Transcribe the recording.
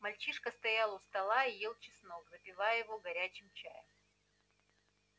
мальчишка стоял у стола и ел чеснок запивая его горячим чаем